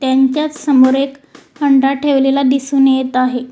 यांच्यासमोर एक घंटा ठेवलेला दिसून येत आहे.